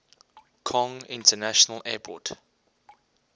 kong international airport